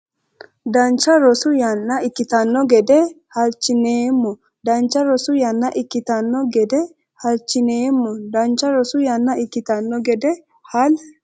Dancha rosu yanna ikkitanno gede hal- chineemmo Dancha rosu yanna ikkitanno gede hal- chineemmo Dancha rosu yanna ikkitanno gede hal-.